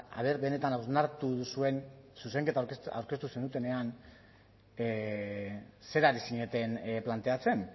aber benetan hausnartu duzuen zuzenketa aurkeztu zenutenean zer ari zineten planteatzen